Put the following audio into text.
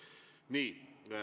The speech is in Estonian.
Nii.